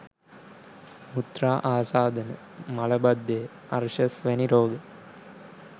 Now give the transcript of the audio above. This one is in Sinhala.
මුත්‍රා ආසාදන, මල බද්ධය, අර්ශස් වැනි රෝග